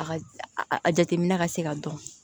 A ka a jateminɛ ka se ka dɔn